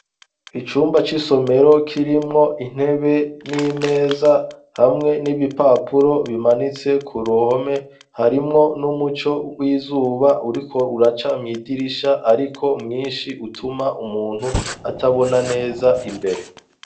Icyumba c'isomero kirimwo intebe n'imeza hamwe n'ibipapuro bimanitse ku ruhome. Harimwo n'umuco w'izuba uriko uraca mw'idirisha ariko mwinshi utuma umuntu atabona neza imbere.